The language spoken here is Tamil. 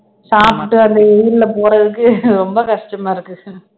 சாப்பிட்டு அந்த வெயில போறதுக்கு ரொம்ப கஷ்டமா இருக்கு